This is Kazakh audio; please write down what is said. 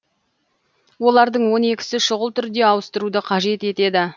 олардың он екісі шұғыл түрде ауыстыруды қажет етеді